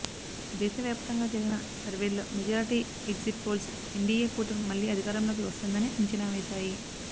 దేశ వ్యాపతంగా జరిపిన సర్వేల్లో మెజార్టీ ఎగ్జిట్ పోల్స్ ఎన్డీయే కూటమి మళ్ళీ అధికారంలోకి వస్తుందని అంచనా వేశాయి